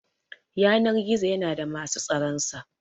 Yanar-gizo yana da musu tsaran sa.